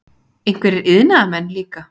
Einhverjir iðnaðarmenn líka.